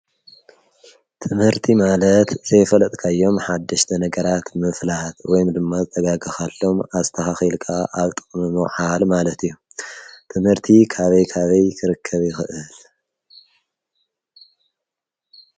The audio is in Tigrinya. ትምህርቲ ማለት ዘይፈልጥካዮም ሓድሽተ ነገራት ምፍላሃት ወይም ድማ ዝተጋግኻሎም ኣስተኻኺልቃ ኣብጥምኖውሓል ማለት እዮም ትምህርቲ ካበይ ካበይ ክርከብ ኽእል።